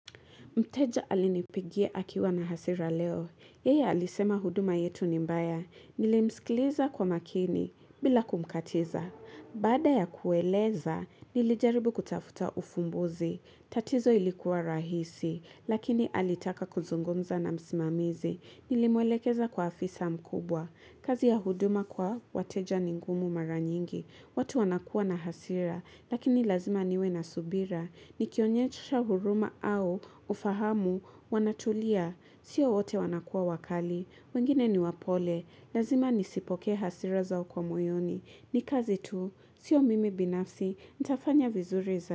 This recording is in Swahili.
Mteja alinipigia akiwa na hasira leo. Yeye alisema huduma yetu ni mbaya. Nili msikiliza kwa makini bila kumkatiza. Bada ya kueleza, nilijaribu kutafuta ufumbuzi. Tatizo lilikuwa rahisi, lakini alitaka kuzungumza na msimamizi. Nilimwelekeza kwa afisa mkubwa. Kazi ya huduma kwa wateja ningumu mara nyingi. Watu wanakuwa na hasira, lakini lazima niwe na subira. Ni kionyesha huruma au ufahamu wanatulia. Sio wote wanakua wakali. Wengine niwa pole. Lazima nisipoke hasira zao kwa mwoyoni. Ni kazi tu. Sio mimi binafsi. Nitafanya vizuri za.